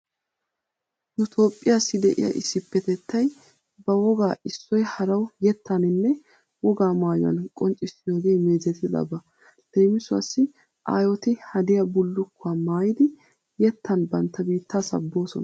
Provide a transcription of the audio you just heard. Nu toophphiyassi de'iya issippetettay ba wogaa issoy harawu yettaninne wogaa maayuwan qonccissiyoogee meezetidaba. Leemisuwawu aayoti hadiya bullukkuwa maayidi yettan bantta biittaa sabboosona.